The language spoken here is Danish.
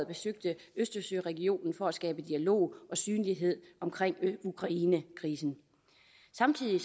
besøgte østersøregionen for at skabe dialog og synlighed omkring ukrainekrisen samtidig